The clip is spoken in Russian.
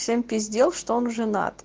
всем пиздел что он женат